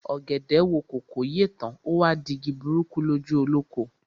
Ọ̀gẹ̀dẹ̀ wo kòkó yè tán, o wá di igi burúkú lójú olóko.